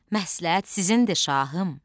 Məsləhət sizindir şahım.